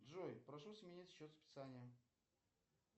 джой прошу сменить счет списания